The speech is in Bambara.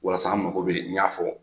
Walasa an mako bɛ n y'a fɔ.